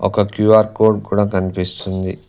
ఒక QR code కూడా కనిపిస్తుంది.